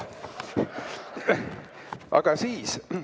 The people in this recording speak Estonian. Aga siis ...